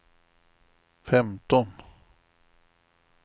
femton